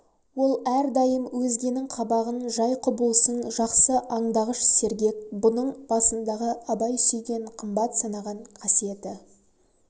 ол әрдайым өзгенің қабағын жай құбылысын жақсы андағыш сергек бұның басындағы абай сүйген қымбат санаған қасиеті